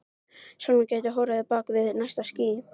Sólin gæti horfið á bak við næsta ský.